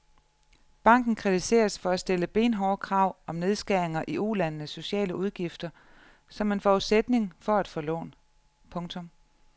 Banken kritiseres for at stille benhårde krav om nedskæringer i ulandenes sociale udgifter som en forudsætning for at få lån. punktum